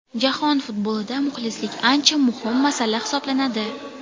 Jahon futbolida muxlislik ancha muhim masala hisoblanadi.